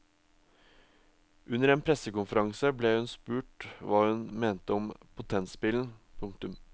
Under en pressekonferanse ble hun spurt hva hun mente om potenspillen. punktum